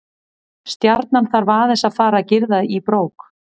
Stjarnan þarf aðeins að fara að girða í bók.